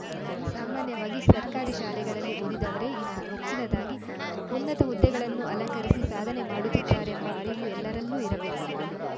ಸಾಮಾನ್ಯವಾಗಿ ಸರ್ಕಾರಿ ಶಾಲೆಗಳಲಿ ಓದಿದವರೇ ಇಂದು ಹೆಚ್ಚಿನದಾಗಿ ಉನ್ನತ ಹುದ್ದೆಗಳನ್ನು ಅಲಂಕರಿಸಿ ಸಾಧನೆ ಮಾಡುತ್ತಿದ್ದಾರೆಂಬ ಅರಿವು ಎಲ್ಲರಲ್ಲೂ ಇರಬೇಕು